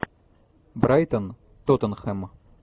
брайтон тоттенхэм